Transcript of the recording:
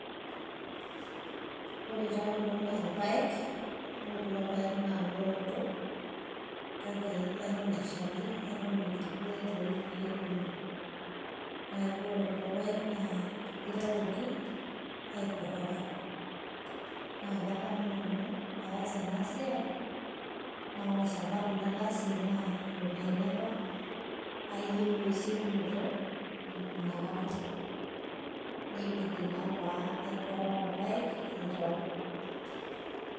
Ore taa kulo naa irpaek. Ore kulo paek na ilooto, kake eton eshali, eton etu duo etoyu pe idong'i. Neeku ore kulo paek, naa kitawuoki aikohora. Na kadamu nanu paas enasiai, na ore sababu nataasie naa, iropiyiani apa ayieu esiokinoto inakata. Nibidi naa pe aikohora paek aitau.